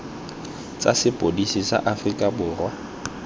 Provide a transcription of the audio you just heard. tsa sepodisi sa aforika borwa